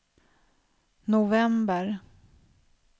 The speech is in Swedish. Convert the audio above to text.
november